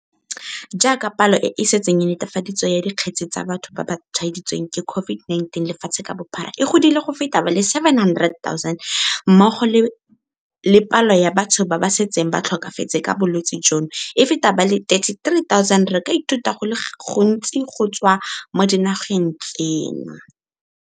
Jaaka palo e e setseng e netefaditswe ya dikgetse tsa batho ba ba tshwaeditsweng ke COVID-19 lefatshe ka bophara e godile go feta ba le 700 000 mmogo le palo ya batho ba ba setseng ba tlhokafetse ka bolwetse jono e feta ba le 33 000, re ka ithuta go le gontsi go tswa mo dinageng tseno.